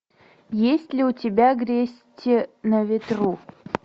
есть ли у тебя грести на ветру